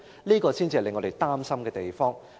這個才是令我們擔心的地方。